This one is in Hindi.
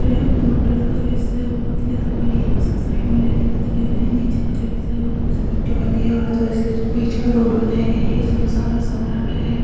यह मोटर का जो हिस्सा है वो बोहत ही ज्यादा बड़ी है उसके साइड में रेलिंग्स लगे हुए हैं। नीचे का जो हिस्सा है वो थोड़ा सा मिट्टी वाली है और तो इस लिए बीच का रोड बनाया गया है। यह सुनसान और सन्नाटा है।